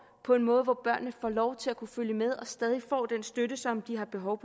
på en måde hvor børnene får lov til at kunne følge med og stadig får den støtte som de har behov